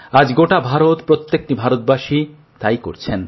আজ গোটা ভারত প্রত্যেক ভারতবাসী তাই করছেন